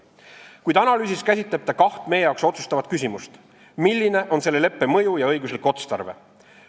Kuid analüüsis käsitleb ta kaht meie jaoks otsustavat küsimust: milline on selle leppe mõju ja õiguslik otstarve.